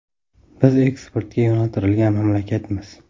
Biz eksportga yo‘naltirilgan mamlakatmiz.